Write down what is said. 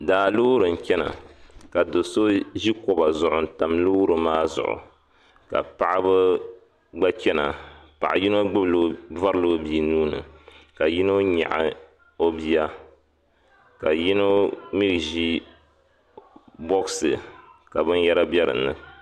Daa loori n chana ka do'so ʒi kɔba zuɣu n tam loori maa zuɣu ka paɣ'ba gba chana paɣa yino gbubila vurila o bia nuuni ka yino nyaɣi o bia ka yinga mi ʒi bɔɣisi ka binyɛra bɛ dini